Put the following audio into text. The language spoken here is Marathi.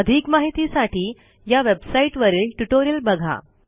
अधिक माहितीसाठी या वेबसाईटवरील ट्युटोरियल बघा